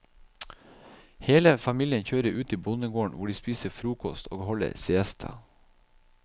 Hele familien kjører ut til bondegården hvor de spiser frokost og holder siesta.